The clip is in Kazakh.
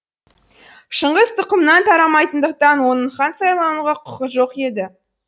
шыңғыс тұқымынан тарамайтындықтан оның хан сайлануға құқы жоқ еді